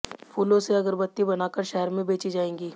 फूलों से अगरबत्ती बनाकर शहर में बेची जाएंगी